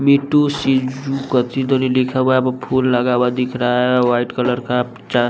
me too सी जू कची तोली लिखा हुआ है वा फूल लगा हुआ दिख रहा है वाइट कलर का चा --